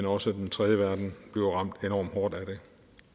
også den tredje verden bliver ramt enormt hårdt af det